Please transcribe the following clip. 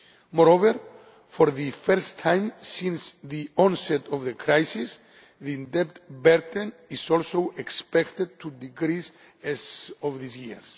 growth. Moreover, for the first time since the onset of the crisis, the debt burden is also expected to decrease as of this